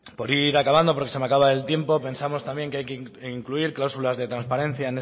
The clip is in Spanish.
por ir acabando porque se me acaba el tiempo pensamos también que hay que incluir cláusulas de transparencia